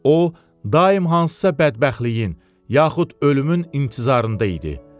O, daim hansısa bədbəxtliyin, yaxud ölümün intizarında idi.